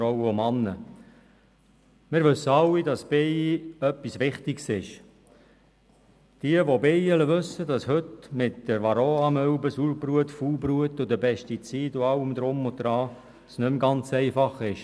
Jene, die Bienen haben, wissen, dass es heute mit der Varroamilbe, Sauerbrut, Faulbrut oder Pestiziden und so weiter nicht mehr ganz einfach ist.